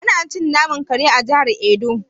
Ana cin naman kare a jihar edo.